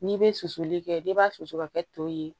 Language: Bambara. N'i bɛ susuli kɛ n'i b'a susu ka kɛ to ye